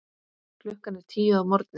Klukkan er tíu að morgni.